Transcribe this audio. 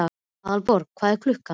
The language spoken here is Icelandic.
Aðalborgar, hvað er klukkan?